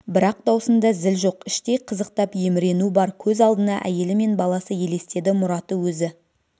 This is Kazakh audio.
бірақ даусында зіл жоқ іштей қызықтап емірену бар көз алдына әйелі мен баласы елестеді мұраты өзі